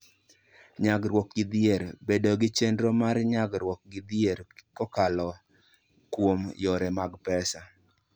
Nyagruok gi Dhier: Bedo gi chenro mar nyagruok gi dhier kokalo kuom yore mag pesa.